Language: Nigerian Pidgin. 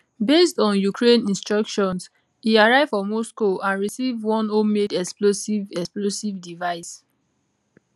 based on ukraine instructions e arrive for moscow and receive one homemade explosive explosive device